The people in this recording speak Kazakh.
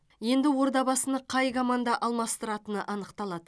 енді ордабасыны қай команда алмастыратыны анықталады